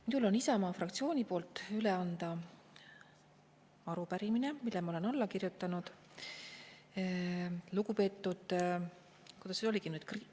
Minul on Isamaa fraktsiooni poolt üle anda arupärimine, millele ma olen alla kirjutanud, lugupeetud – kuidas see nüüd oligi?